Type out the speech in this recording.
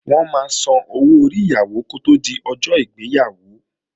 Wọ́n máa sanwó orí Ìyàwó kó tí di ọjọ́ ìgbéyàwó